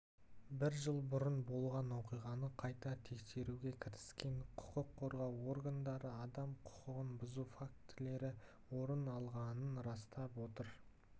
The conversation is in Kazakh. бір жыл бұрын болған оқиғаны қайта тексеруге кіріскен құқық қорғау органдары адам құқығын бұзу фактілері орын алғанын растап отыр